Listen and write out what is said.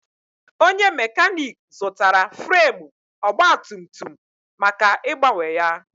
Onye mekanik zụtara fremu ogbatumtum maka ịgbanwe ya.